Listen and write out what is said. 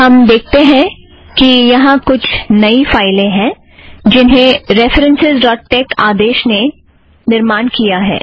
हम देखते हैं कि यहाँ कुछ नई फ़ाइलें हैं जिन्हें P D F dot tex आदेश निर्माण करता है